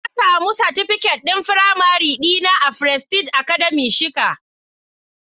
Na samu satifiket din firamare dina a frestige academy shika.